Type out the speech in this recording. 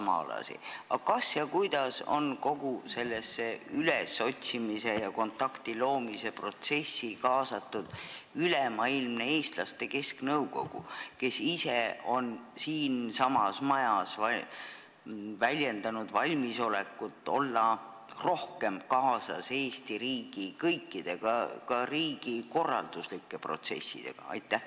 Aga kas ja kuidas on kogu selle otsimise ja kontakti loomise protsessi kaasatud Ülemaailmne Eesti Kesknõukogu, kes ise on siinsamas majas väljendanud valmisolekut olla rohkem kaasatud kõikidesse Eesti riigi protsessidesse, ka riigikorralduslikesse protsessidesse?